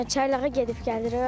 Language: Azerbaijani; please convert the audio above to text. Çaylağa gedib gəlirik.